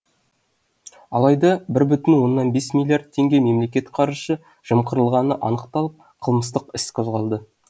алайда бір бүтін оннан бес миллиард теңге мемлекет қаржысы жымқырылғаны анықталып қылмыстық іс қозғалды